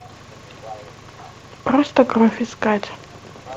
просто кровь искать